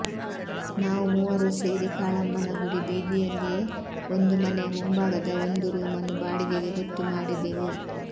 ನಾವು ಮೂವರೂ ಸೇರಿ ಕಾಳಮ್ಮನಗುಡಿ ಬೀದಿಯಲ್ಲಿಯೆ ಒಂದು ಮನೆಯ ಮುಂಭಾಗದ ಒಂದು ರೂಮನ್ನು ಬಾಡಿಗೆಗೆ ಗೊತ್ತು ಮಾಡಿದೆವು